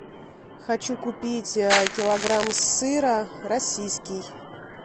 хочу купить килограмм сыра российский